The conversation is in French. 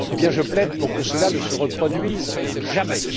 Je plaide pour que cela ne se reproduise jamais.